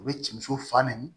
U bɛ cɛ fa nɛni